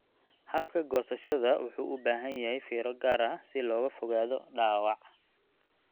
Habka goosashada wuxuu u baahan yahay fiiro gaar ah si looga fogaado dhaawac.